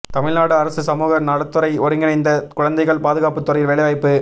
தமிழ்நாடு அரசு சமூக நலத்துறை ஒருங்கிணைந்த குழந்தைகள் பாதுகாப்பு துறையில் வேலைவாய்ப்பு